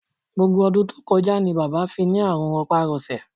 Gbogbo ọdún tó kọjá ni bàbá fi ní àrùn rọpárọsẹ̀